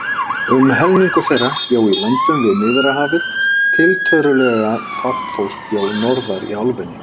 Um helmingur þeirra bjó í löndum við Miðjarðarhafið, tiltölulega fátt fólk bjó norðar í álfunni.